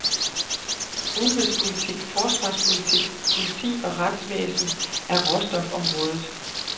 Udenrigspolitik, forsvarspolitik, politi og retsvæsen og råstofområdet.